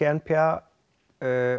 n p a